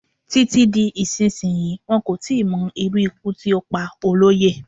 Títí di ìsinsìnyí, wọn kò tí ì mo irú ikú tí ó pa Olóyè.